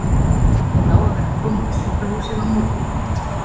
Hún á að vera komin á sjúkrahúsið á morgun upp úr tíu.